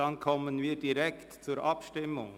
Dann kommen wir direkt zur Abstimmung.